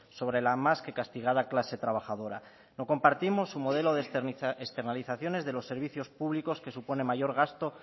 sobre la más que castigada clase trabajadora no compartimos su modelo de externalizaciones de los servicios públicos que supone mayor gasto